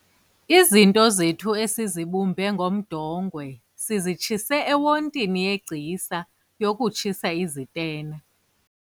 izinto zethu esizibumbe ngomdongwe sizitshise ewontini yegcisa yokutshisa izitena